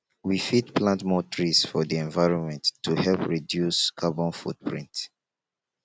we fit plant more trees for di environment to help reduce carbon foot print